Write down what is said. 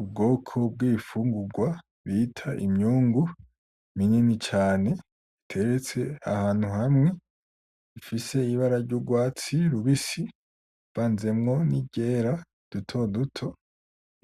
Ubwoko bw'ibifungurwa bita imyungu binini cane biteretse ahantu hamwe bifise ibara ry'urwatsi rubisi rivanzemwo n'iryera dutoduto